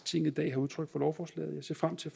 tinget i dag har udtrykt for lovforslaget jeg ser frem til